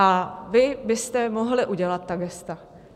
A vy byste mohli udělat ta gesta.